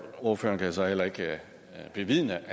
ordføreren kan så heller ikke bevidne